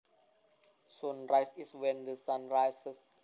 Sunrise is when the sun rises